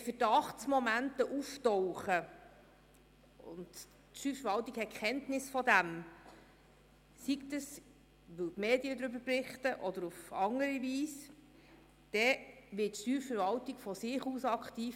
Wenn Verdachtsmomente auftauchen und die Steuerverwaltung Kenntnis davon hat, sei es aus Medienberichten oder aus anderen Quellen, wird sie von sich aus aktiv.